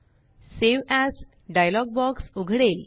save as dialog box उघडेल